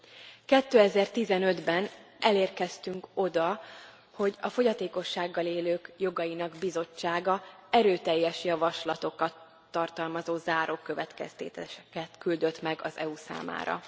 2015 ben elérkeztünk oda, hogy a fogyatékossággal élők jogainak bizottsága erőteljes javaslatokat tartalmazó záró következtetéseket küldött meg az EU számára.